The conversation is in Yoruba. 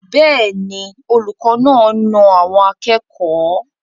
Bẹ́ẹ̀ ni, olùkọ́ náà na àwọn akẹ́kọ̀ọ́.